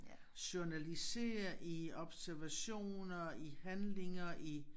Journalisere i observationer i handlinger i